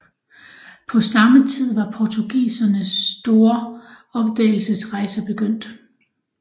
På samme tid var portugisernes store opdagelsesrejser begyndt